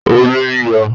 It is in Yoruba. Omi ń yọ